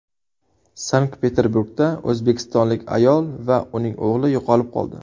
Sankt-Peterburgda o‘zbekistonlik ayol va uning o‘g‘li yo‘qolib qoldi.